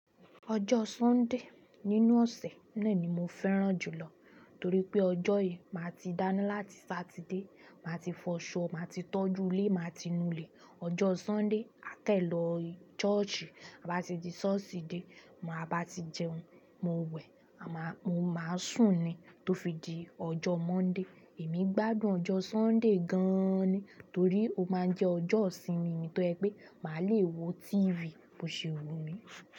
Ọjọ́ Sunday nínú ọ̀sẹ̀ náà ni mo fẹ́ràn jùlọ torípé ọjọ́ yìí má tí dáná láti Saturday, má tí fọ so, má tí tọ́jú ilé, má tí nu ilé. Ọjọ́ Sunday aa kan lọ church, a bá ti tí church dé, tí a bá tí jẹun, mo wẹ̀, mo má sùn ni, tio fi di ọjọ́ Monday. Èmi gbádùn ọjọ Sunday gaan ni torí pé ó jẹ ọjọ ìsinmi mi tó jẹ́ pé máa lè wo tv bo ṣe wùmí.